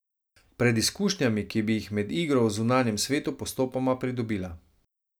Pred izkušnjami, ki bi jih med igro v zunanjem svetu postopoma pridobila.